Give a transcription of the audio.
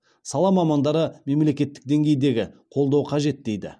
сала мамандары мемлекеттік деңгейдегі қолдау қажет дейді